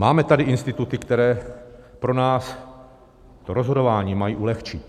Máme tady instituty, které pro nás to rozhodování mají ulehčit.